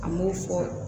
An m'o fɔ